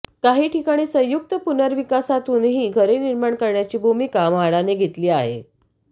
काही ठिकाणी संयुक्त पुनर्विकासातूनही घरे निर्माण करण्याची भूमिका म्हाडाने घेतली आहे